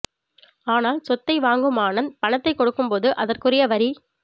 ஆனால் சொத்தை வாங்கும் ஆனந்த் பணத்தை கொடுக்கும் போது அதற்குரிய வரி